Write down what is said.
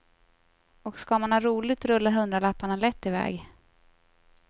Och ska man ha roligt rullar hundralapparna lätt i väg.